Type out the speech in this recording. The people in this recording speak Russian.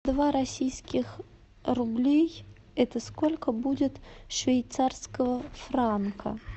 два российских рублей это сколько будет швейцарского франка